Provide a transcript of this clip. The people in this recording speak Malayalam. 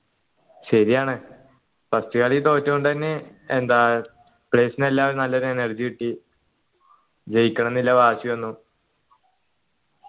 ശരിയാണ് first കളി തോറ്റണ്ട്ന്നെ എന്താ നല്ലൊരു energy കിട്ടി ജയിക്കണംന്നുള്ള വാശി വന്നു